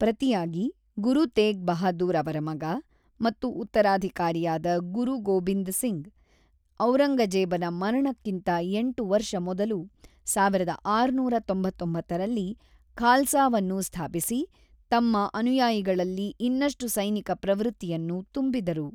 ಪ್ರತಿಯಾಗಿ, ಗುರು ತೇಗ್ ಬಹಾದೂರ್ ಅವರ ಮಗ ಮತ್ತು ಉತ್ತರಾಧಿಕಾರಿಯಾದ ಗುರು ಗೋಬಿಂದ್ ಸಿಂಗ್‌, ಔರಂಗಜೇಬನ ಮರಣಕ್ಕಿಂತ ಎಂಟು ವರ್ಷ ಮೊದಲು, ಸಾವಿರದ ಆರುನೂರ ತೊಂಬತ್ತೊಂಬತ್ತರಲ್ಲಿ ಖಾಲ್ಸಾವನ್ನು ಸ್ಥಾಪಿಸಿ, ತಮ್ಮ ಅನುಯಾಯಿಗಳಲ್ಲಿ ಇನ್ನಷ್ಟು ಸೈನಿಕ ಪ್ರವೃತ್ತಿಯನ್ನು ತುಂಬಿದರು.